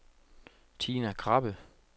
Tina Krabbe